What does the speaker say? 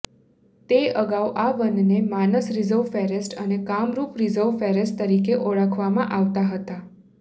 તે અગાઉ આ વનને માનસ રિઝર્વ ફેરેસ્ટ અને કામરૂપ રિઝર્વ ફેરેસ્ટ તરીકે ઓળખવામાં આવતા હતા